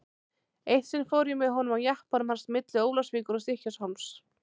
Eitt sinn fór ég með honum á jeppanum hans milli Ólafsvíkur og Stykkishólms.